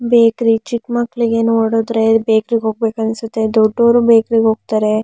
Bakery ಚಿಕ್ಕ ಮಕ್ಕಳಿಗೆ ನೋಡುದರೆ ಬೇಕಾರಿ ಗೆ ಹೋಗಬೇಕು ಅನ್ಸುತ್ತೆ ದೊಡ್ಡವರು ಬೇಕರಿ ಗೆ ಹೋಗ್ತಾರೆ.